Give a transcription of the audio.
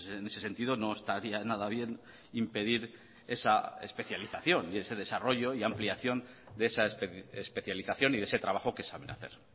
en ese sentido no estaría nada bien impedir esa especialización y ese desarrollo y ampliación de esa especialización y de ese trabajo que saben hacer